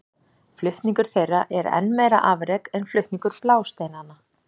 Flutningur þeirra er enn meira afrek en flutningur blásteinanna.